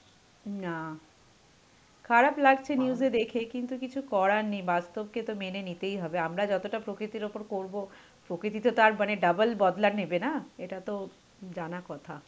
না, খারাপ লাগছে news এ দেখে কিন্তু কিছু করার নেই বাস্তবকে তো মেনে নিতেই হবে. আমরা যতটা প্রকৃতির ওপর করবো প্রকৃতি তো তাঁর মানে double বদলা নেবে না, এটা তো জানা কথা.